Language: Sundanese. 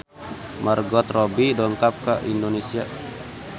Margot Robbie dongkap ka Indonesia